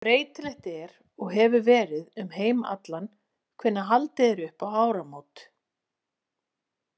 Mjög breytilegt er og hefur verið um heim allan hvenær haldið er upp á áramót.